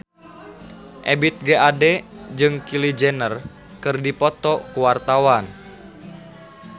Ebith G. Ade jeung Kylie Jenner keur dipoto ku wartawan